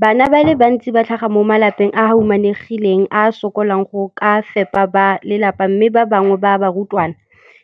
Bana ba le bantsi ba tlhaga mo malapeng a a humanegileng a a sokolang go ka fepa ba lelapa mme ba bangwe ba barutwana,